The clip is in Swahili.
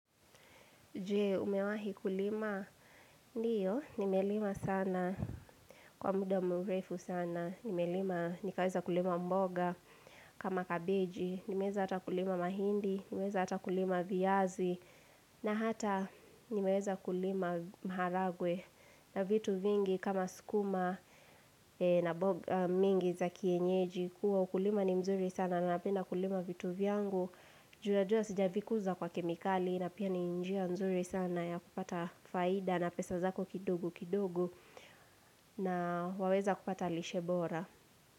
Je, umewahi kulima? Ndio, nimelima sana. Kwa muda mrefu sana, nimelima nikaweza kulima mboga kama kabeji, nimeweza hata kulima mahindi, nimeweza hata kulima viazi, na hata nimeweza kulima maharagwe na vitu vingi kama sukuma, na mboga mingi za kienyeji. Kuwa ukulima ni mzuri sana na napenda kulima vitu vyangu, juu najua sijavikuza kwa kemikali na pia ni njia nzuri sana ya kupata faida na pesa zako kidogo kidogo. Na waweza kupata lishe bora.